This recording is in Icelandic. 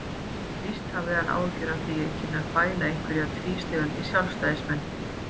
Vísast hafði hann áhyggjur af því að ég kynni að fæla einhverja tvístígandi sjálfstæðismenn.